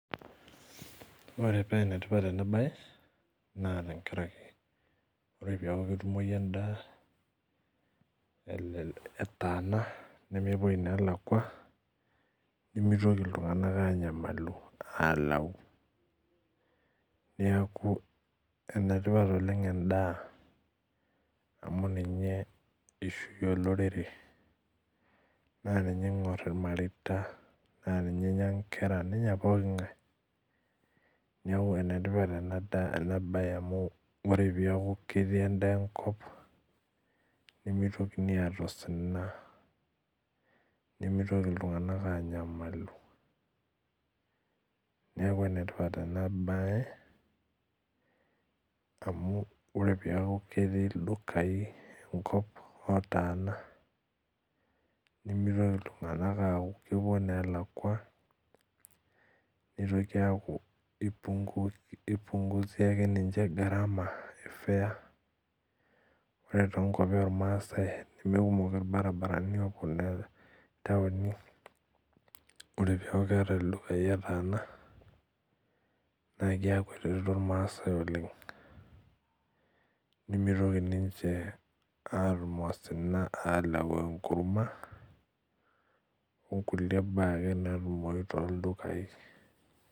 Ore penetipat enabae na tenkaraki ore peaku ketumoi endaa etaana nemepuoi nalakwa woitin nalakwa nitoki ltunganak anyamalu neaku enetipat oleng endaa amu ninye ishunye olororere ninye ingor imareita na ninye eingor nkera nenya pooki ngae neakubenetipat enabae amu ore peaku keaku ketii endaa enkop nimitoki aata osina nimitoki ltunganak anyamalu neaku enetipat enabae amu ore peaku ketii ldukai enkop otaana nimitoki ltunganak aaku kepuo nelakwa nitoki aaku kipunguza ninche garama e fare ore tonkwapi ormaasai nemekumok irbaribarani opuo ntauni ore peaku ketii ldukai otaana neakubetereto irmaasai oleng nimitoki ninche alau enkurma onkulie baa ake naatumoi toldukai.